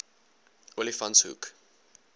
olifantshoek